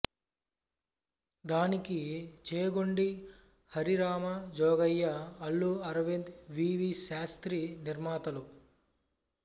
దానికి చేగొండి హరిరామజోగయ్య అల్లు అరవింద్ వి వి శాస్త్రి నిర్మాతలు